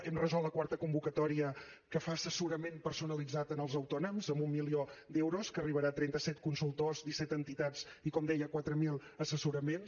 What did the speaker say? hem resolt la quarta convocatòria que fa assessorament personalitzat als autònoms amb un milió d’euros que arribarà a trenta set consultors disset entitats i com deia quatre mil assessoraments